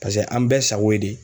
Paseke an bɛɛ sago ye de